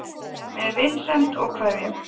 Með vinsemd og kveðjum